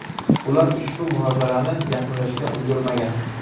Ular ushbu munozarani yakunlashga ulgurmagan.